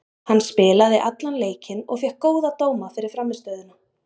Hann spilaði allan leikinn og fékk góða dóma fyrir frammistöðuna.